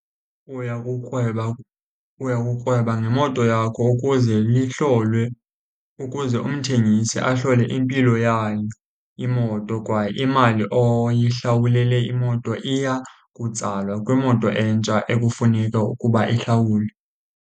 Uya kukrweba, uya kukrweba ngemoto yakho ukuze ihlolwe ukuze umthengisi ahlole impilo yayo imoto, kwaye imali oyihlawulele imoto iya kutsalwa kwimoto entsha ekufuneka ukuba ihlawulwe.